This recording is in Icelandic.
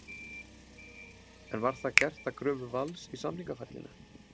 En var það gert að kröfu Vals í samningaferlinu?